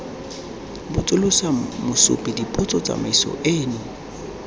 botsolotsa mosupi dipotso tsamaiso eno